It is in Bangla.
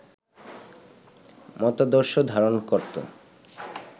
মতাদর্শ ধারণ করত